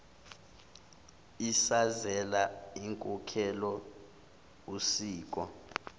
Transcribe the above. isazela inkolelo usiko